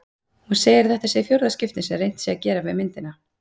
Hún segir að þetta sé í fjórða skipti sem reynt sé að gera við myndina.